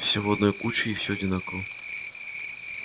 все в одной куче и всё одинаково